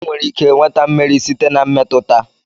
enwere ike nweta mmeri site na mmetụta